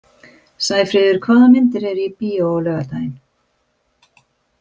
Sæfríður, hvaða myndir eru í bíó á laugardaginn?